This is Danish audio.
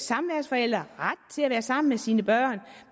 samværsforælder ret til at være sammen med sine børn